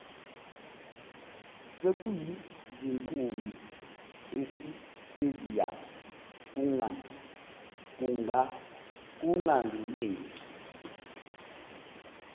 sekuyizinkumbi esitediyamu kungangeneki